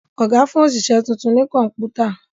Oga fún oṣiṣẹ títún ní Kọ̀ǹpútà